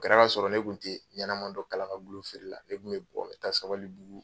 kɛra ka sɔrɔ ne kun tɛ ɲanaman dɔ kala kagulon feere la ne kun bɛ bɔ n bɛ taa Sabali bugu.